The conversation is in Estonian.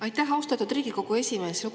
Aitäh, austatud Riigikogu esimees!